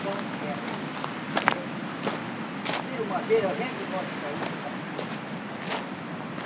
Então, é eh... Tiram madeira, vende em lote para outro lá.